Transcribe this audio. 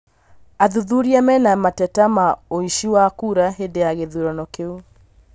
Athuthuria menamateta ma ũici wa kura hĩndĩ ya gĩthurano kĩu